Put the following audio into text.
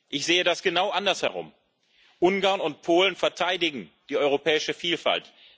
Ich sehe das genau anders herum Ungarn und Polen verteidigen die europäische Vielfalt.